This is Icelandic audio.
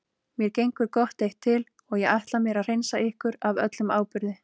Mér gengur gott eitt til og ég ætla mér að hreinsa ykkur af öllum áburði.